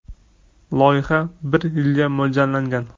Loyiha bir yilga mo‘ljallangan.